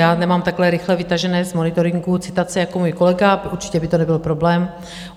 Já nemám takhle rychle vytažené z monitoringu citace jako můj kolega, určitě by to nebyl problém.